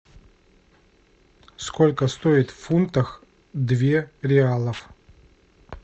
сколько стоит в фунтах две реалов